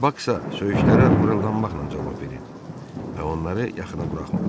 Baxsa söyüşlərə mırıltanmaqla cavab verib və onları yaxına buraxmırdı.